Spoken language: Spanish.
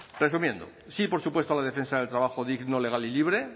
resumiendo sí por supuesto la defensa del trabajo digno legal y libre